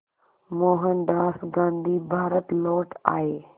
मोहनदास गांधी भारत लौट आए